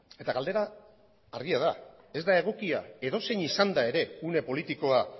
eta galdera argia da ez da egokia edozein izanda ere une politikoa